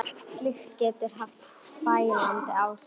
Slíkt getur haft fælandi áhrif.